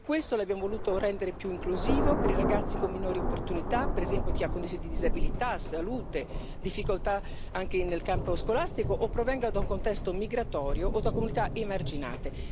Per questo lo abbiamo voluto rendere più inclusivo, per i ragazzi con minori opportunità, per esempio chi ha condizioni di disabilità, salute, difficoltà anche nel campo scolastico o provenga da un contesto migratorio o da comunità emarginate.